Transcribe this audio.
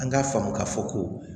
An k'a faamu k'a fɔ ko